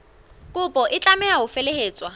kopo e tlameha ho felehetswa